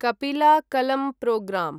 कपिला कलं प्रोग्रां